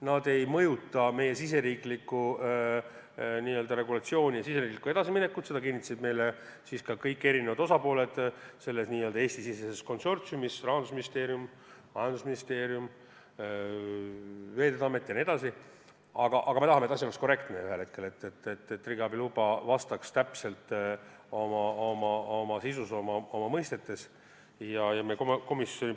Need ei mõjuta meie riigisisest regulatsiooni ja riigisisest edasiminekut, seda kinnitasid meile kõik osapooled selles n-ö Eesti-siseses konsortsiumis – Rahandusministeerium, majandusministeerium, Veeteede Amet jne –, aga me tahame ka, et kõik oleks korrektne ning et riigiabi luba ja meie seadus oleksid oma sisu ja mõistete poolest vastavuses.